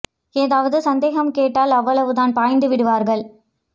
ஏதாவது சந்தேகம் கேட்டால் அவ்வளவு தான் பாய்ந்து விடுவார்கள்